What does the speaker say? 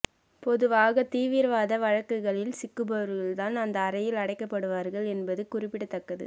பொதுவாக தீவிரவாத வழக்குகளில் சிக்குபவர்கள் தான் அந்த அறையில் அடைக்கப்படுவார்கள் என்பது குறிப்பிடத்தக்கது